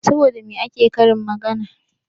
Saboda me ake karin magana?